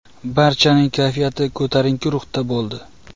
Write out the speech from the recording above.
Barchaning kayfiyati ko‘tarinki ruhda bo‘ldi.